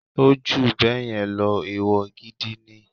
Ó jù báyẹn lọ, ẹ̀wọ̀ gidi ni.